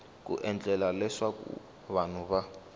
ku endlela leswaku vanhu va